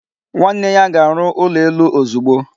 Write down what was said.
Nwanne ya ga-arụ ụlọ elu ozugbo.